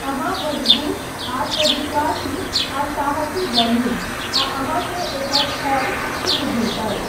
अहाँ मजगूत, आत्मविश्वासी आ साहसी बनू, आ अहाँकेँ एकर फल शीघ्र भेटत।